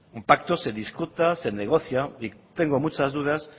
un pacto se discute se negocia y tengo muchas dudas